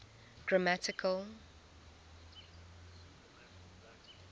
grammatical